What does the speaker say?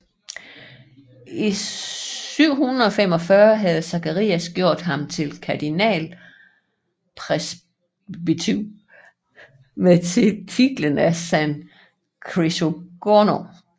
I 745 havde Zacharias gjort ham til kardinalpresbyter med titlen af San Crisogono